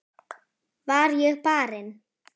Var ég barinn?